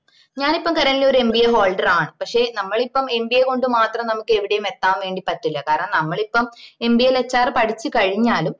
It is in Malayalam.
ഞാനിപ്പോ currently ഒര് mbaholder ആണ് പക്ഷേ നമ്മളിപ്പോ mba കൊണ്ട് മാത്രം നമക്ക് എവിടെയും എത്താൻ വേണ്ടി പറ്റില്ല കാരണം നമ്മളിപ്പോ mba ല് HR പഠിച്ചു കഴിഞ്ഞാലും